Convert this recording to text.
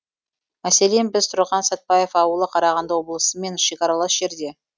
мәселен біз тұрған сәтбаев ауылы қарағанды облысымен шекаралас жерде